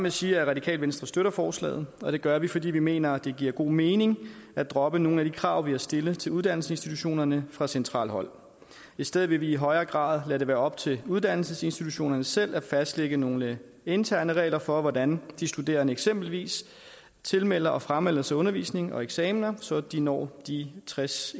at sige at radikale venstre støtter forslaget og det gør vi fordi vi mener at det giver god mening at droppe nogle af de krav man har stillet til uddannelsesinstitutionerne fra centralt hold i stedet vil vi i højere grad lade det være op til uddannelsesinstitutionerne selv at fastlægge nogle interne regler for hvordan de studerende eksempelvis tilmelder og framelder sig undervisning og eksamener så de når de tres